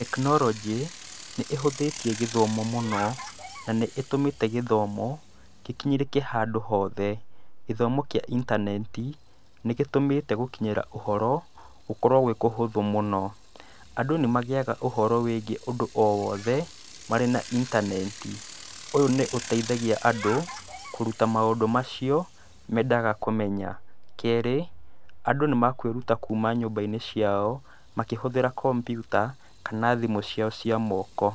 Tekinoronjĩ nĩĩhũthĩtie gĩthomo mũno, na nĩ ĩtũmĩte gĩthomo gĩkinyĩrĩke handũ hothe. Gĩthomo kĩa intaneti nĩgĩtũmĩte gũkinyĩra ũhoro gũkorwo gwĩ kũhũthũ mũno. Andũ nĩmagĩaga ũhoro wĩgie ũndũ o wothe marĩ na intaneti. Ũyũ nĩũteithagia andũ kũruta maũndũ macio mendaga kũmenya. Keerĩ andũ nĩmakwĩruta kuma nyũmba-inĩ ciao makĩhũthĩra computer kana thimũ ciao cia moko.